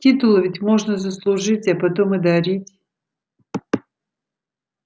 титулы ведь можно заслужить а потом и дарить